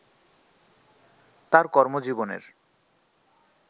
তার কর্মজীবনের